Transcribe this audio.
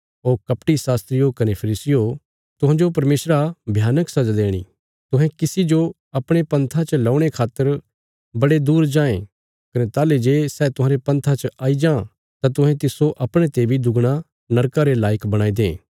ओ कपटी शास्त्रियो कने फरीसियो तुहांजो परमेशरा भयानक सजा देणी तुहें किसी जो अपणे पंथा च लौणे खातर बड़े दूर जायें कने ताहली जे सै तुहांरे पंथा च आई जां तां तुहें तिस्सो अपणे ते बी दुगणा नरका रे लायक बणाई दें